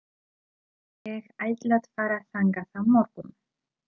Ég ætla að fara þangað á morgun.